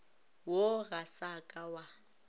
wo ga sa ka wa